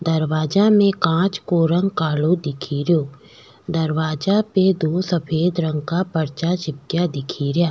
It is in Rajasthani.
दरवाजा में कांच को रंग कालो दिखे रियो दरवाजा पे दो सफ़ेद रंग का परचा चिपका दिखे रिया।